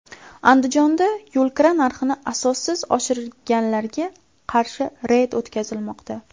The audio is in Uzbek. Andijonda yo‘lkira narxini asossiz oshirganlarga qarshi reyd o‘tkazilmoqda.